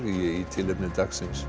í tilefni dagsins